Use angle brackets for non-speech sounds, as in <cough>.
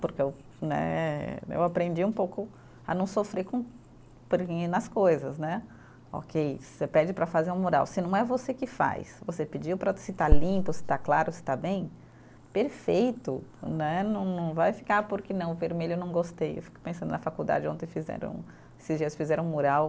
Porque eu né, eu aprendi um pouco a não sofrer com <unintelligible> nas coisas né, ok, você pede para fazer um mural, se não é você que faz, você pediu para se está limpo, se está claro, se está bem, perfeito, né não não vai ficar porque não, o vermelho eu não gostei, eu fico pensando na faculdade ontem fizeram, esses dias fizeram um mural,